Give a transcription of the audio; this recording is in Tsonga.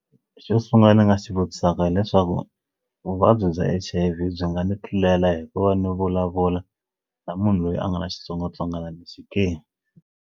Xo sungula ni nga xi vutisaka hileswaku vuvabyi bya H_I_V byi nga ni tlulela hi ku va ni vulavula na munhu loyi a nga na xitsongwatsongwana lexi ke.